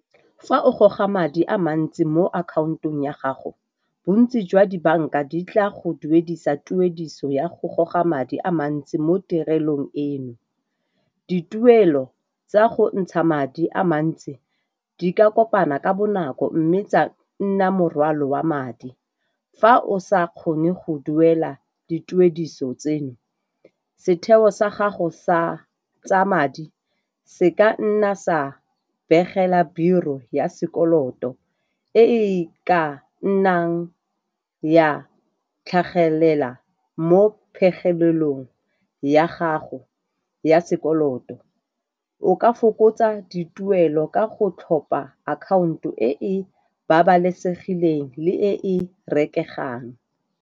Fa o goga madi a mantsi mo akhaontong ya gago, bontsi jwa dibanka di tla go duedisa tuediso ya go goga madi a mantsi mo tirelong eno. Dituelo tsa go ntsha madi a mantsi di ka kopana ka bonako mme tsa nna morwalo wa madi. Fa o sa kgone go duela dituediso tseno, setheo sa gago sa tsa madi se ka nna sa begela Bureau ya sekoloto e ka nnang ya tlhagelela mo phegelelong ya gago ya sekoloto, o ka fokotsa dituelo ka go tlhopha akhaonto e e babalesegileng le e rekegang.